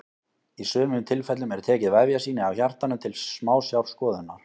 í sumum tilfellum er tekið vefjasýni af hjartanu til smásjárskoðunar